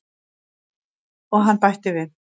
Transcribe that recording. Og hann bætti við.